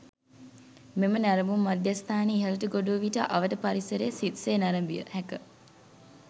මෙම නැරඹුම් මධ්‍යස්ථානයේ ඉහළට ගොඩ වූ විට අවට පරිසරය සිත් සේ නැරඹිය හැක.